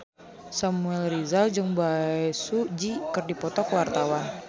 Samuel Rizal jeung Bae Su Ji keur dipoto ku wartawan